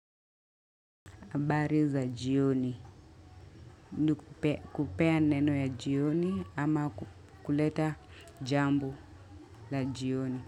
Bari za jioni, nukupea neno ya jioni ama kuleta jambo la jioni.